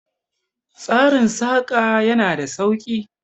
Tsarin Saƙa ya na da sauki